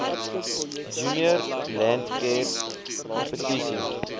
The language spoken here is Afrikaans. junior landcare kompetisie